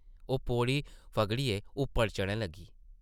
ओह् पौड़ी पगड़ियै उप्पर चढ़न लगी ।